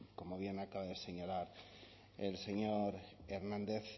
que como bien acaba de señalar el señor hernández